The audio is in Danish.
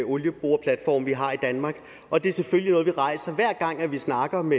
olieboreplatforme vi har i danmark og det er selvfølgelig vi rejser hver gang vi snakker om